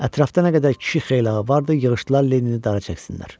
Ətrafda nə qədər kişi xeylağı vardı, yığışdılar Lenini dara çəksinlər.